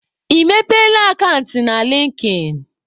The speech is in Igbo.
Ị mepeela akant na likin?